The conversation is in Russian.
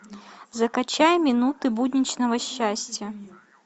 закачай минуты будничного счастья